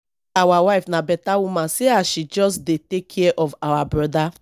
our wife na beta woman see as she just dey take care of our broda